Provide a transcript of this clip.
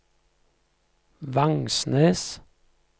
Vangsnes